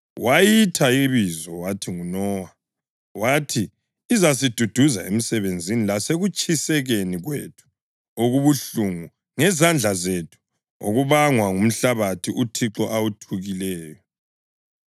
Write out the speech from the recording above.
Wayitha ibizo wathi nguNowa, wathi, “Izasiduduza emsebenzini lasekutshikatshikeni kwethu okubuhlungu ngezandla zethu okubangwa ngumhlabathi uThixo awuthukileyo.”